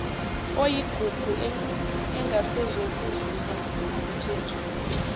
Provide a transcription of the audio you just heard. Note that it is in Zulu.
oyigugu engasezokuzuza nakuthenjisiwe